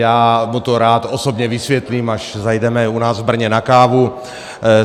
Já mu to rád osobně vysvětlím, až zajdeme u nás v Brně na kávu.